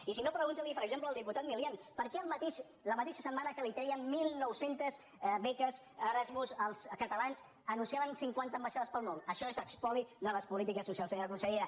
i si no pregunti li per exemple al diputat milián per què la mateixa setmana que treien mil nou cents beques erasmus als catalans anunciaven cinquanta ambaixades pel món això és espoli de les polítiques socials senyora consellera